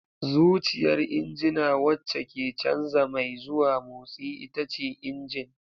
Zuciyar injina wacce ke canza mai zuwa motsi ita ce injin.